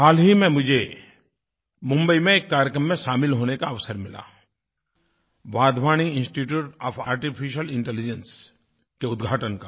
हाल ही मुझे मुम्बई में एक कार्यक्रम में शामिल होने का अवसर मिला Wadhwani institute for artificial intelligence के उद्घाटन का